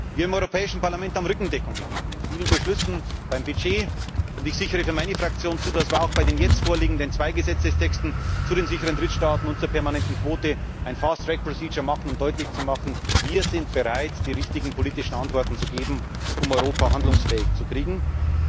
Wir im Europäischen Parlament haben Rückendeckung gegeben in vielen Beschlüssen, beim Budget, und ich sichere für meine Fraktion zu, dass wir auch bei den jetzt vorliegenden zwei Gesetzestexten zu den sicheren Drittstaaten und zur permanenten Quote eine fast track procedure machen, um deutlich zu machen Wir sind bereit, die wichtigen politischen Antworten zu geben, um Europa handlungsfähig zu machen.